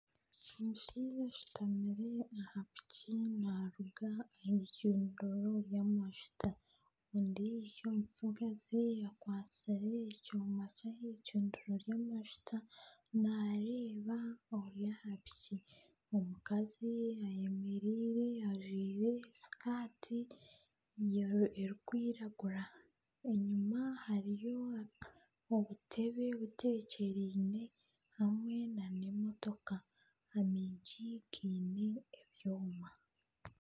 Omushaija ashutamire aha piki naaruga aha icundiro ry'amajuta, ondiijo omutsigazi akwatsire ekyoma ky'aha icundiro ry'amajuta naareeba ori aha piki, omukazi ayemereire ajwire sikaati erikwiragura enyima hariyo obutebe butekyereine hamwe nana emotoka.